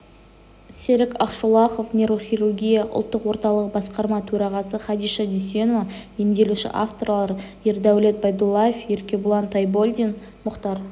серік ақшолақов нейрохирургия ұлттық орталығы басқарма төрағасы хадиша дүйсенова емделуші авторлары ердәулет байдуллаев еркебұлан тойболдин мұхтар